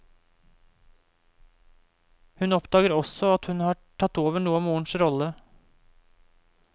Hun oppdager også at hun har tatt over noe av morens rolle.